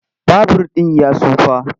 Babur ɗin ya tsufa.